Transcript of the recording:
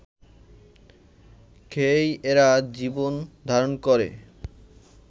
খেয়েই এরা জীবন ধারণ করে